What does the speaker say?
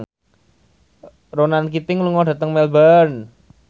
Ronan Keating lunga dhateng Melbourne